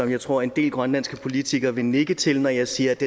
jeg tror en del grønlandske politikere vil nikke til det når jeg siger at